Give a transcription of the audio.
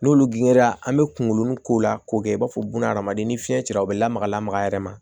N'olu gɛnna an bɛ kungolo k'o la k'o kɛ i b'a fɔ buna hadamaden ni fiɲɛ cira o bɛ lamaga lamaga yɛrɛ ma